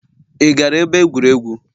Ị gara ebe egwuregwu?.